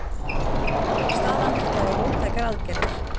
Staðan kallar á róttækar aðgerðir